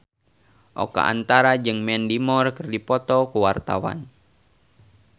Oka Antara jeung Mandy Moore keur dipoto ku wartawan